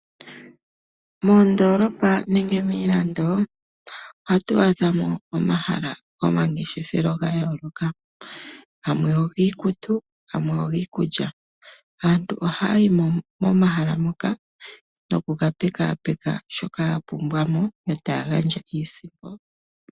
Moondoolopa nenge miilando ohatu adhamo omahala gomangeshefelo ga yooloka, gamwe ogiikutu gamwe ogiikulya. Aantu ohaya yi momahala moka nokukapekapeka shoka ya pumbwamo, yo taya gandja iisimpo.